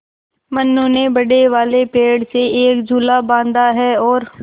मनु ने बड़े वाले पेड़ से एक झूला बाँधा है और